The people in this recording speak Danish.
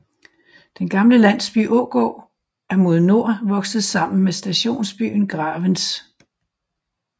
Den gamle landsby Ågård er mod nord vokset sammen med stationsbyen Gravens